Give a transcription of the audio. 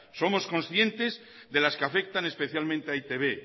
somos concientes de las que afectan especialmente a e i te be